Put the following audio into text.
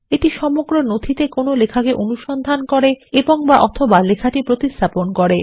এটি সমগ্র নথিতে লেখাটি অনুসন্ধান করে এবং অথবালেখাটি প্রতিস্থাপন করে